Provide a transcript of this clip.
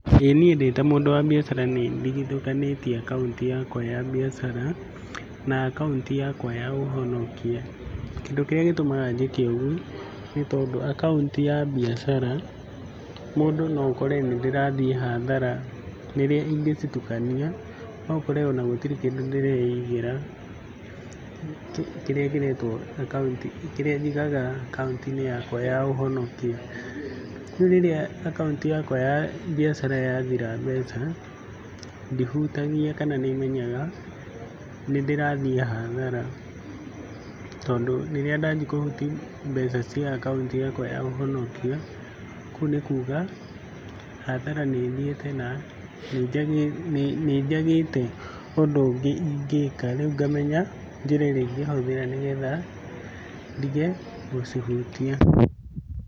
ĩ niĩ ndĩ ta mũndũ wa mbiacara nĩndigithũkanĩtie akaunti yakwa ya mbiacara na akaunti yakwa ya ũhonokia, kĩndũ kĩrĩa gĩtũmaga njĩke ũgũo nĩ tondũ akaunti ya mbiacara, mũndũ no ũkore nĩndĩrathiĩ hathara rĩrĩa ingĩcitukania no ũkore ona gũtirĩ kĩndũ ndĩreigĩra, kĩrĩa kĩretwo akaunti kĩrĩa njigaga akaunti-inĩ yakwa ya ũhonokia. Rĩu rĩrĩa akaunti yakwa ya mbiacara yathira mbeca ndihutagia kana nĩmenyaga nĩndĩrathiĩ hathara tondũ rĩrĩa ndanji kũhuti mbeca cia akunti yakwa ya ũhonokia, kũu nĩ kuga hathara nĩthiĩte na nĩnjagĩte ũndũ ũngĩ ingĩka rĩu ngamenya njĩra ĩrĩa ingĩhũthĩra nĩgetha ndige gũcihutia.